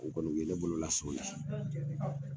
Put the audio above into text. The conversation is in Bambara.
U kɔni u ye ne bolola sɔn o la